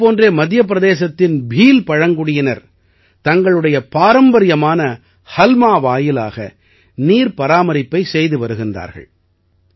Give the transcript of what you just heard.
இதைப் போன்றே மத்திய பிரதேசத்தின் பீல் பழங்குடியினர் தங்களுடைய பாரம்பரியமான ஹல்மா வாயிலாக நீர் பராமரிப்பைச் செய்து வருகின்றார்கள்